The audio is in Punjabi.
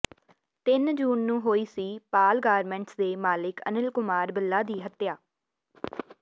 ਤਿੰਨ ਜੂਨ ਨੂੰ ਹੋਈ ਸੀ ਪਾਲ ਗਾਰਮੈਂਟਸ ਦੇ ਮਾਲਕ ਅਨਿਲ ਕੁਮਾਰ ਬਿੱਲਾ ਦੀ ਹੱਤਿਆ